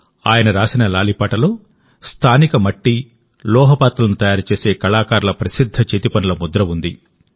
ఆయన రాసిన లాలిపాటలో స్థానిక మట్టి లోహ పాత్రలను తయారు చేసే కళాకారుల ప్రసిద్ధ చేతిపనుల ముద్ర ఉంది